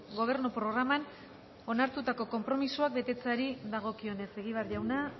gobernu programan onartutako konpromisoak betetzeari dagokionez egibar jauna